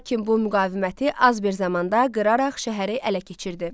Lakin bu müqaviməti az bir zamanda qıraraq şəhəri ələ keçirdi.